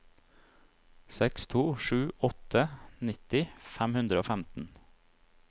seks to sju åtte nitti fem hundre og femten